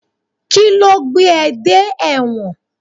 Kíló gbé dé ẹ dé ẹ̀wọ̀n?